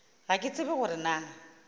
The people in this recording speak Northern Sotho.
ga ke tsebe gore na